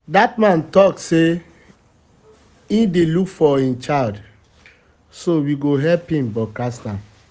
dat man talk say he dey look for im child so we go help broadcast am